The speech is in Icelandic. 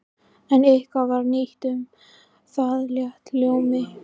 En heitið var nýtt og um það lék ljómi.